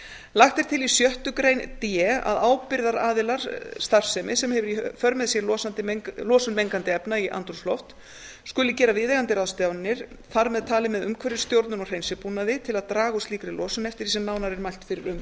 lagt er til í sjöttu grein d að ábyrgðaraðilar starfsemi sem hefur í för með sér losun mengandi efna í andrúmsloft skulu gera viðeigandi ráðstafanir þar með talið með umhverfisstjórnun og hreinsibúnaði til að draga úr slíkri losun eftir því sem nánar er mælt fyrir um